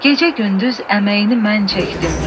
Gecə-gündüz əməyini mən çəkdim.